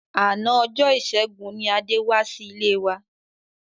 Àná ọjọ́ ìṣẹ́gun ni Adé wá sí ilé wa.